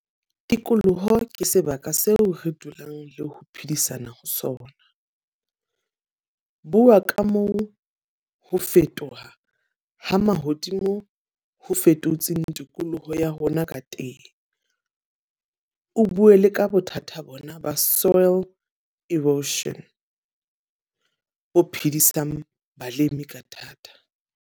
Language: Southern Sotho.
Tikoloho ke sebaka seo re dulang le ho phedisana ho sona. Bua ka moo ho fetoha ha mahodimo ho fetotseng tikoloho ya rona ka teng. O bue le ka bothata bona ba soil erosion bo phedisang balemi ka thata.